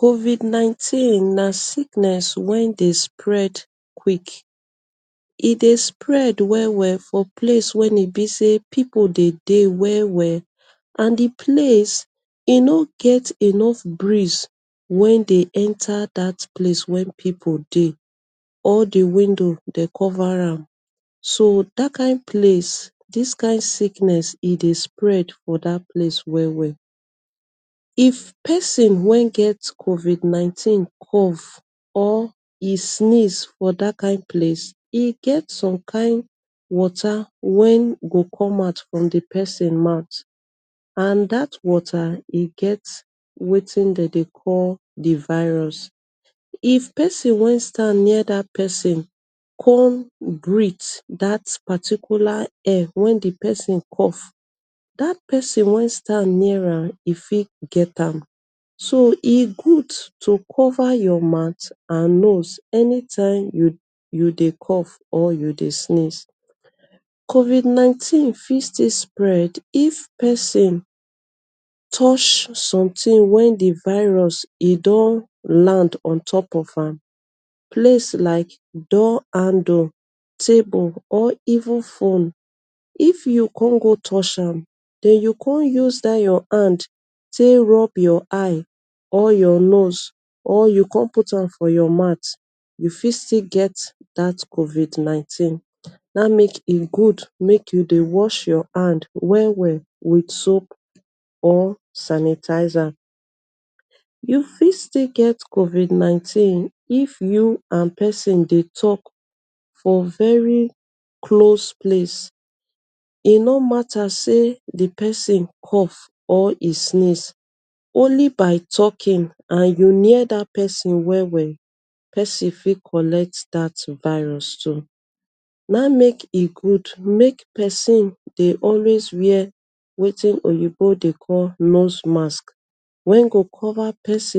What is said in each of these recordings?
Covid-19 na sickness wen dey spread quick. E dey spread well-well for place wen in be say pipu dey dey well-well and di place e no get enough breeze wey dey enter dat place wen pipu dey. All di window dey cova am, so dat kind place dis kind sickness e dey spread for dat place well-well. If pesin wen get covid-19 cough or e sneeze for dat kind place. E get some kind water wen go come out from di pesin mouth and dat water e get wetin dem dey call di virus. if pesin wen stand near dat pesin come breath dat paticular air wen di pesin cough dat pesin wen stand near am e fit getam so e good to cover your mouth and nose anytime you you dey cough or you dey sneeze. Covid-19 fit still dey spread if pesin touch sometin wen di virus e don land on top of am, place like door handle, table or even fone, if you con go touch am den you con use dat your hand tay rub your eye or your nose or you con put am for your mouth u fit still get dat covid-19 dat mek e good mek you wash your hand well-well wit soap or sanitizer. You fit still get covid-19 if you and pesin dey talk for very close place, e no mata say di pesin cough or e sneeze only by talkin and you near dat pesin well-well pesin fit collect dat virus too. Na im mek e good mek pesin dey always wear wetin oyinbo dey call nose mask wen dey cover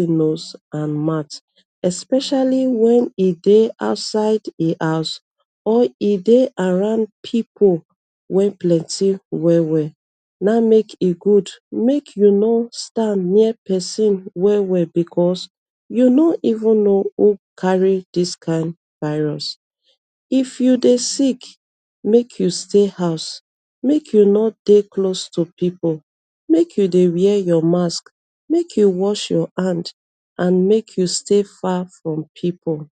nose and mouth especially wen e dey outside di house or e dey around pipu wen plenti well-well, na mek e good mek you no stand near pesin well-well because you no even no who carry dis kind virus if you dey sick, mek you stay house, mek you no dey close to pipu, mek you dey wear your mask, mek you wash your hand and mek you stay far from pipu.